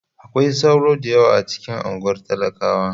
Akwai sauro da yawa a cikin unguwar talakawa.